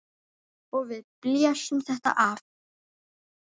Og við blésum þetta af.